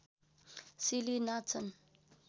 सिली नाच्छन्